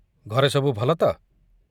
ଘରେ ସବୁ ଭଲ ତ?